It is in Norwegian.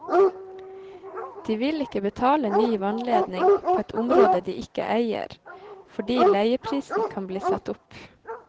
De vil ikke betale ny vannledning på et område de ikke eier, fordi leieprisen kan bli satt opp.